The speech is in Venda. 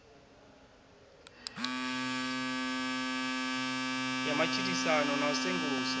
ya matshilisano na u sengulusa